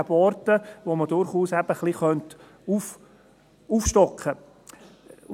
Es gäbe Orte, an denen man durchaus ein wenig aufstocken könnte.